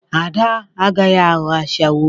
Ada agaghị aghọ ashawo.